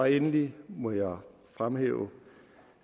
endelig må jeg fremhæve